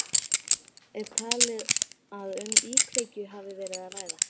Jóhann, er talið að um íkveikju hafi verið að ræða?